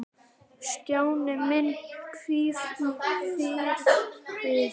Stjáni minn, hvíl í friði.